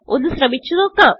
ഒന്ന് ശ്രമിച്ച് നോക്കാം